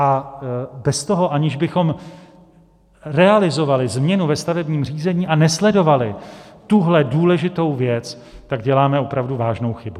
A bez toho, aniž bychom realizovali změnu ve stavebním řízení a nesledovali tuhle důležitou věc, tak děláme opravdu vážnou chybu.